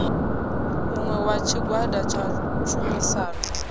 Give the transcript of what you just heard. muṅwe wa tshigwada tsha tshumisano